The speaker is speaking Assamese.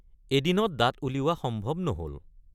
এদিনত দাঁত উলিওৱা সম্ভৱ নহল।